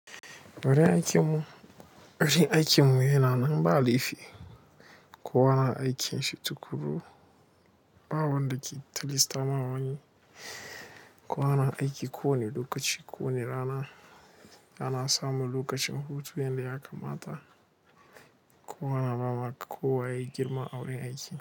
Wurin aikin mu, wurin aikin mu yana nan ba laifi. Ko wana aiki shi tuƙuru ba wanda ke tilasta ma wani. Ko wana aiki ko wani lokaci ko wani rana ana samu lokacin hutu yanda ya kamata. Kowa na ba ma ko waye ya girma a gurin aiki.